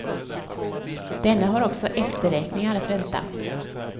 Denne har också efterräkningar att vänta.